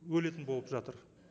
өлетін болып жатыр